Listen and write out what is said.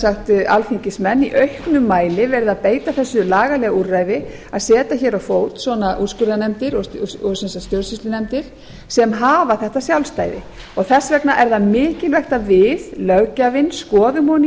allt alþingismenn í auknum mæli verið að beita þessu lagalega úrræði að setja á fót svona úrskurðarnefndir og sem sagt fjölskyldunefndir sem hafa þetta sjálfstæði þess vegna er það mikilvægt að við löggjafinn skoðum ofan í